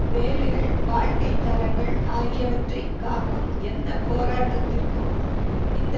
வேலைகள் வாழ்க்கை தரங்கள் ஆகியவற்றை காக்கும் எந்த போராட்டத்திற்கும் இந்த